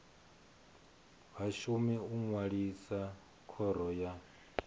vhashumi u ṅwalisa khoro ya